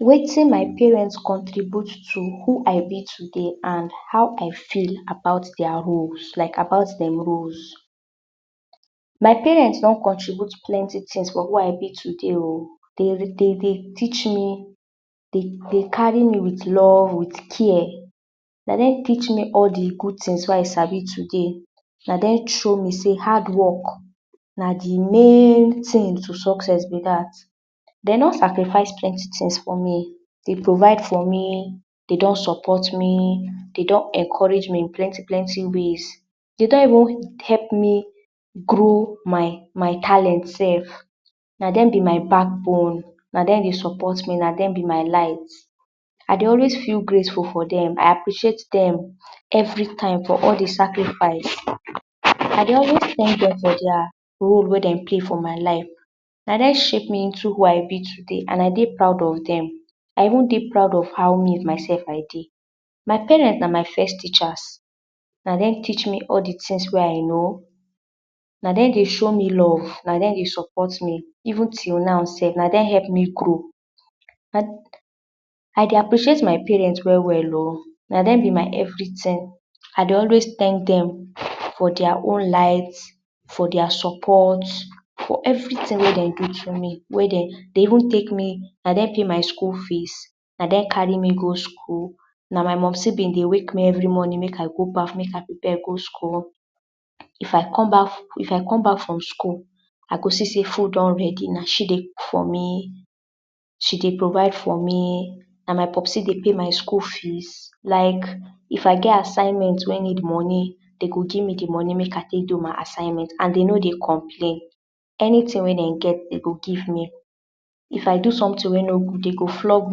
Wetin my parent contribute to who I be today and how I feel about dia roles like about dem roles my parents don contribute plenty tings for who I be today oh. Dey, dem dey teach me dey carry me with love with care. na dem teach me all de good tings wey I sabi today. na dem show me sey hard work na de main tings to success be dat. dey don sacrifice plenty ting for me. dey provide for me, dey don support me, dey don encourage me plenty plenty ways. dey don even help me grow my my talent sef. na dem be my backbone. na dem dey support me. na dem be my light. I dey always feel grateful for dem. I appreciate dem everytime for all de sacrifice. I dey always tank dem for dia role wey dey play for my life. na dem shape me into who I be today and I dey proud of dem. I dey proud of how me myself I dey. my parents na my first teachers na dem teach me all de first tings I know. na dem dey show me love na dem dey support me even till now sef na dem help me grow. I dey appreciate my parent well well oh. na dem be my everyting. I dey anyway tank dem for dia own light for dia support for everyting wey dem do to me dey even take me. na dem pay my school fees. na dem carry me go school. na my mumcy bin dey wake me up every morning make I go baff make I prepare go school if I come back if i come back from school I go see sey food don ready. na she dey cook for me she dey provide for me na my popsy dey pay my school fees like if I get assignment wey need money na dem go give me they money wey i go tek do my assignment and dey no dey complain anyting. wen dem get, dem go give me if I do someting wey no good dem go flog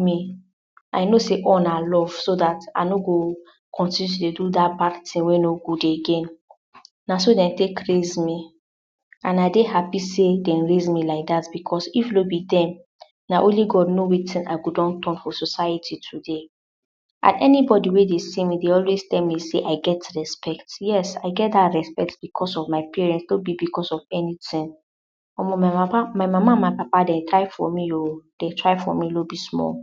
me. I know sey all na love so dat I no go continue to dey do dat bad ting wey no good again. na so dem take raise me and I dey happy sey dem raise me like dat because if no be dem na only God know wetin I fit don turn for society today and anybody wey dey see me e dey always tell me sey I get respect yes I get dat respect because of my parent no be because of anyting Omo my papa, my mama and papa dem try for me oo dem try for me no be small